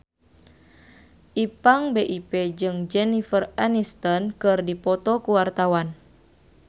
Ipank BIP jeung Jennifer Aniston keur dipoto ku wartawan